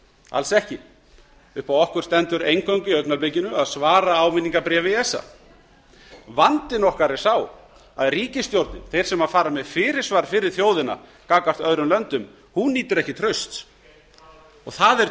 alls ekki upp á okkur stendur eingöngu í augnablikinu að svara áminningarbréfi esa vandi okkar er sá að ríkisstjórnin þeir sem fer með fyrirsvar fyrir þjóðina gagnvart öðrum löndum nýtur ekki trausts og það er